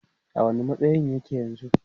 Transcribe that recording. a wani matsayin yake yanzun?